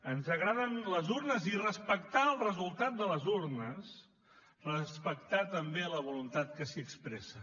ens agraden les urnes i respectar el resultat de les urnes respectar també la voluntat que s’hi expressa